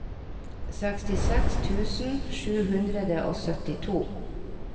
sekstiseks tusen sju hundre og syttito